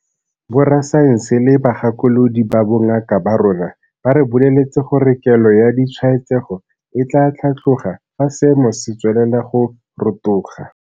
Borasaense le bagakolodi ba bongaka ba rona ba re boleletse gore kelo ya ditshwaetsego e tla tlhatloga fa seemo se tswelela go rotoga.